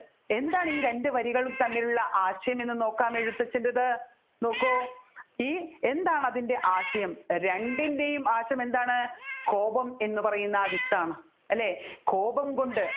എന്താണ് ഈ രണ്ടു വരികളും തമ്മിലുള്ള ആശയം എന്ന് നോക്കാം എഴുത്തച്ഛൻെറത്ത് നോക്കു ഈ എന്താണ് അതിൻെറ ആശയം രണ്ടിൻെറയും ആശയം എന്താണ് കോപം എന്ന് പറയുന്ന ആ വിത്താണ് അല്ലെ കോപം കൊണ്ട്